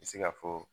I bɛ se ka fɔ